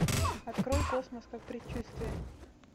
открой космос как предчувствие